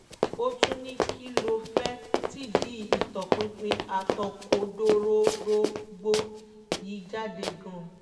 ó tún ní kí ló fẹ́ẹ́ tìdí ìtọpinpin àtòkodororógbó yìí jáde gan-an